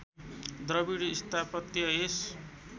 द्रविड स्थापत्य यस